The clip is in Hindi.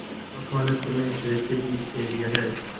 महात्मा ने तुम्हें ऐसे ही दे दिया है